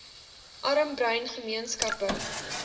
arm bruin gemeenskappe